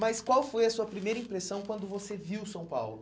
Mas qual foi a sua primeira impressão quando você viu São Paulo?